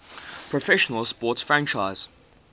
professional sports franchise